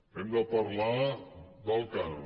hem de parlat del cànon